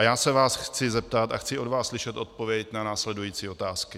A já se vás chci zeptat, a chci od vás slyšet odpověď na následující otázky: